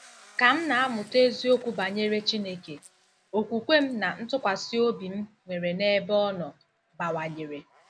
Ka m na-amụta eziokwu banyere Chineke, okwukwe m na ntụkwasị obi m nwere n'ebe Ọ nọ bawanyere.